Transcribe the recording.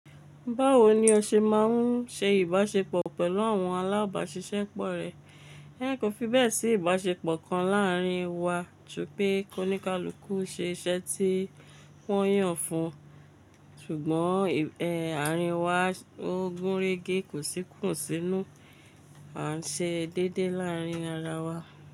Báwo ni o ṣe máa ń ṣe ìbáṣepọ̀ pẹ̀lú àwọn alábàáṣiṣẹ́ pọ̀ rẹ? Ẹn kò fi bẹ́ẹ̀ sí ìbáṣepọ̀ kan láàárín wa, ju pe kó ní kalùkù ṣe iṣẹ́ tí wọ́n yàn fún un, ṣùgbọ́n ẹ àárín wa ó gúnrégé, kò sí kùnsínú, à ń ṣe déédéé láàárín ara wa.